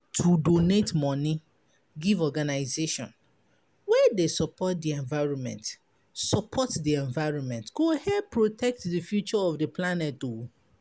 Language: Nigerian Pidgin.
To donate money give organization wey dey support di environment support di environment go help protect di future of di planet. um